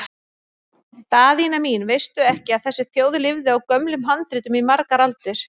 Daðína mín, veistu ekki að þessi þjóð lifði á gömlum handritum í margar aldir?